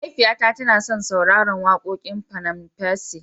mahaifiya ta tana son sauraran wakoƙin panam percy